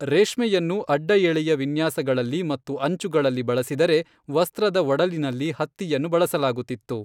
ರೇಷ್ಮೆಯನ್ನು ಅಡ್ಡಎಳೆಯ ವಿನ್ಯಾಸಗಳಲ್ಲಿ ಮತ್ತು ಅಂಚುಗಳಲ್ಲಿ ಬಳಸಿದರೆ, ವಸ್ತ್ರದ ಒಡಲಿನಲ್ಲಿ ಹತ್ತಿಯನ್ನು ಬಳಸಲಾಗುತ್ತಿತ್ತು.